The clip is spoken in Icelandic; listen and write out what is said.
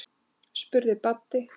spurði Baddi.